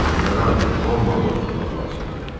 Onları artıq Londonda tutmaq lazımdır.